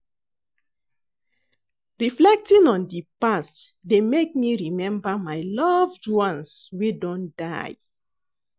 Reflecting on di past dey make me remember my loved ones wey don die.